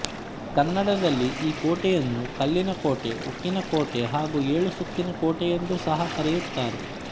ಕನ್ನಡದಲ್ಲಿ ಈ ಕೋಟೆಯನ್ನು ಕಲ್ಲಿನ ಕೋಟೆಉಕ್ಕಿನ ಕೋಟೆ ಹಾಗು ಏಳು ಸುತ್ತಿನ ಕೋಟೆ ಎಂದು ಸಹ ಕರೆಯುತ್ತಾರೆ